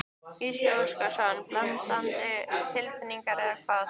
Gísli Óskarsson: Blendnar tilfinningar eða hvað?